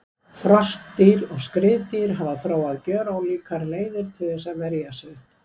Froskdýr og skriðdýr hafa þróað gjörólíkar leiðir til þess að verja sig.